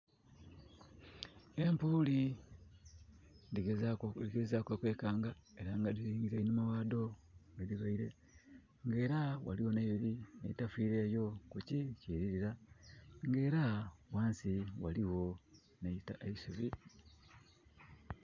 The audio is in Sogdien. Empuuli dhigezaaku, dhiligezaaku okwekanga ela nga dhilingeile enhuma ghaadho. Nge era ghaligho nh'edho edhitafiireyo ku ki kililira. Nge era ghansi ghaligho nh'eitaka ...eisubi